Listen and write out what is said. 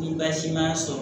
Ni baasi ma sɔrɔ